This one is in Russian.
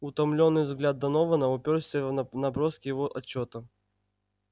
утомлённый взгляд донована упёрся в наброски его отчёта